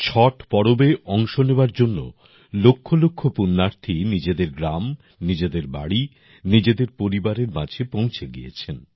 ছট পর্বে অংশ নেওয়ার জন্য লক্ষলক্ষ পুণ্যার্থী নিজেদের গ্রাম নিজেদের বাড়ি নিজেদের পরিবারের মাঝে পৌঁছে গিয়েছেন